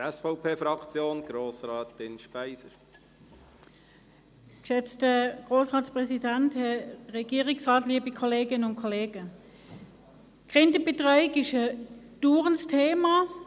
Die Kinderbetreuung ist im Parlament, in der Regierung und in der Bevölkerung ein dauerndes Thema.